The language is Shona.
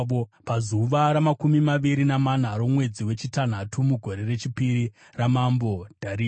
pazuva ramakumi maviri namana romwedzi wechitanhatu mugore rechipiri ramambo Dhariasi.